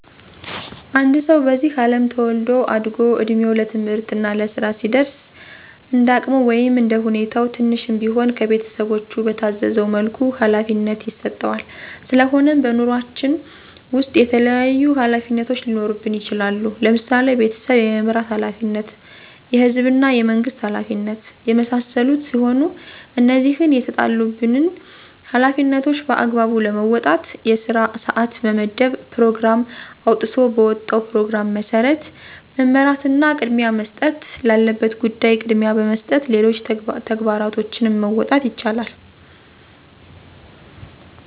አንድ ሰዉ በዚህ አለም ተወልዶ አድጎ እድሜዉ ለትምህርት እና ለስራ ሲደርስ እንደ አቅሙ ወይም እንደ ሁኔታዉ ትንሽም ቢሆን ከቤተሰቦቹ በታዘዘዉ መልኩ ኃላፊነት ይሰጠዋል ስለሆነም በኑሮአችን ዉስጥ የተለያዩ ኃላፊነቶች ሊኖሩብን ይችላሉ ለምሳሌ፦ ቤተሰብ የመምራት ኃላፊነት፣ የህዝብና የመንግስት ኃላፊነት የመሳሰሉት ሲሆኑ እነዚህን የተጣሉብንን ኃላፊነቶች በአግባቡ ለመወጣት የስራ ሰዓት መመደብ ፕሮግራም አዉጥቶ በወጣዉ ፕሮግራም መሰረት መመራትና ቅድሚያ መሰጠት ላለበት ጉዳይ ቅድሚያ በመስጠት ሌሎች ተግባሮችንም መወጣት ይቻላል።